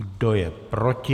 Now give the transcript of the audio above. Kdo je proti?